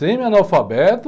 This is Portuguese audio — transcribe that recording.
Semi-analfabeto,